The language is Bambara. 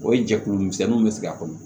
O ye jɛkulu misɛnninw be sigi a kɔnɔ